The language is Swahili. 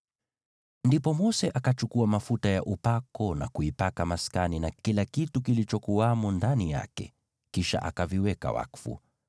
Ndipo Mose akachukua mafuta ya upako na kuipaka maskani na kila kitu kilichokuwamo ndani yake, kisha akaviweka wakfu.